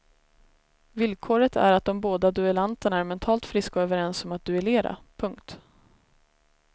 Villkoret är att de båda duellanterna är mentalt friska och överens om att duellera. punkt